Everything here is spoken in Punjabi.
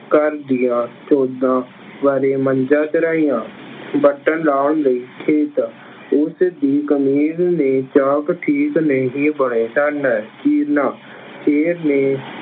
ਘਰ ਦੀਆਂ ਬਾਰੇ ਕਰਾਈਆਂ। ਵਰਤੋਂ ਲਿਆਉਣ ਲਈ ਖੇਤ- ਉਸਦੀ ਕਮੀਜ਼ ਨੇ ਚਾਕ ਠੀਕ ਨਹੀਂ ਪਾਏ ਸਨ। ਚੀਰਨਾ-